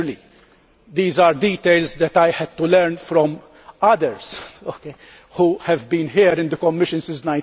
Naturally, these are details that I had to learn from others who have been here in the Commission since